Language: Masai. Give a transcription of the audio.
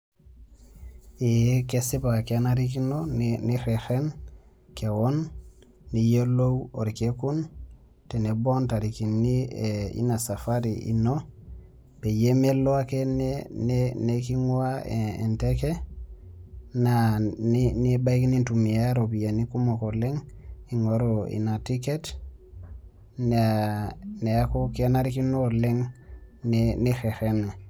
Eeh, kesipa kenarikino nireten kewon piyolou olkekun tenebo o intarikini e Ina safari ino peyie melo ake neking'ua enteke naa nebaiki nintumia iropiani kumok ing'oru Ina ticket neaku kenarikino oleng' nireten ake.